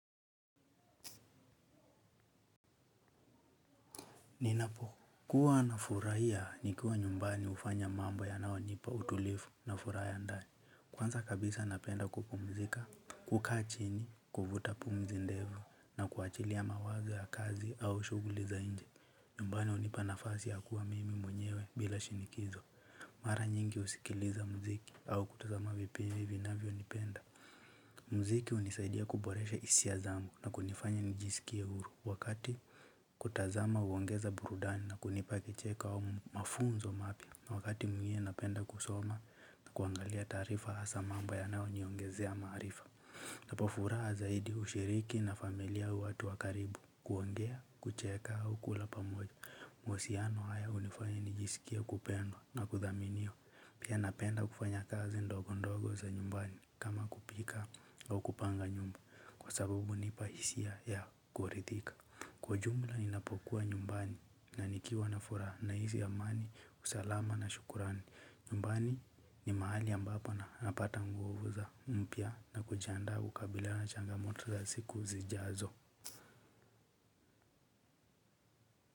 Ninapo kuwa nafurahia nikiwa nyumbani hufanya mambo yanaonipa utulivu na furaha ya ndani kwanza kabisa napenda kupumzika. Kukaa chini kuvuta pumzi ndefu na kuachilia mawazo ya kazi au shughuli za inje nyumbani hunipa nafasi ya kuwa mimi mwenyewe bila shinikizo. Mara nyingi husikiliza mziki au kutazama vipindi vinavyo nipenda. Mziki hunisaidia kuboresha hisia zangu na kunifanya nijisikie huru wakati kutazama huongeza burudani na kunipa kicheko au mafunzo mapya na wakati mwingine napenda kusoma na kuangalia taarifa hasa mambo yanayo niongezea maarifa. Napo furaha zaidi hushiriki na familia au watu wakaribu kuongea, kucheka, au kula pamoja. Mahusiano hayo hunifanya nijisikie kupendwa na kudhaminiwa. Pia napenda kufanya kazi ndogo ndogo za nyumbani kama kupika au kupanga nyumba. Kwa sababu hunipa hisia ya kuridhika. Kwa jumla ninapokuwa nyumbani na nikiwa na furaha nahisi amani, usalama na shukrani. Nyumbani ni mahali ambapo na napata nguvu za mpya na kujianda ukabila na changamoto za siku zijazo.